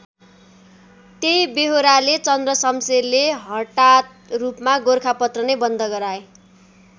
त्यही बेहोराले चन्द्रशमशेरले हटात रूपमा गोरखापत्र नै बन्द गराए।